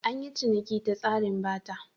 An yi ciniki ta tsarin Barter.